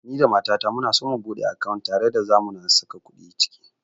Ni da mata ta muna so mu buɗe akawunt tare da zamu na saka kuɗi ciki